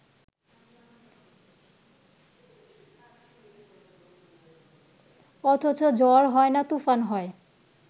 অথচ ঝড় হয় না তুফান হয়